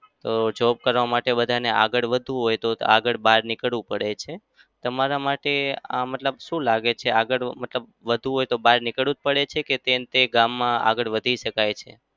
તો job કરવા માટે બધાને આગળ વધવું હોય તો આગળ બહાર નીકળ્યું પડે છે. તમારા માટે આ મતલબ શું લાગે છે? આગળ મતલબ વધવું હોય બહાર નીકળવું જ પડે છે કે તે ને તે ગામમાં આગળ વધી શકાય છે?